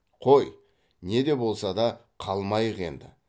қой не де болса қалмайық енді